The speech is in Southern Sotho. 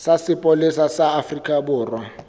sa sepolesa sa afrika borwa